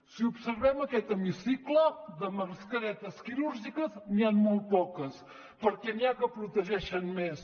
si observem aquest hemicicle de mascaretes quirúrgiques n’hi han molt poques perquè n’hi ha que protegeixen més